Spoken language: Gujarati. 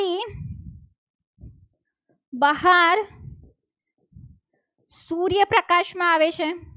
બહાર સૂર્યપ્રકાશમાં આવે છે.